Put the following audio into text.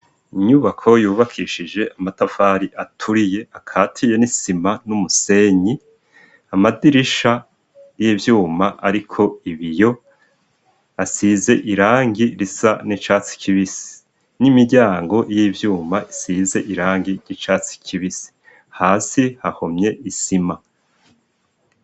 Inyubako yubakishije amatafari aturiye akatiye n'isima n'umusenyi, amadirisha y'ivyuma ariko ibiyo asize irangi risa n'icatsi kibisi n'imiryango y'ivyuma isize irangi y'icatsi kibisi. Hasi hahomye isima.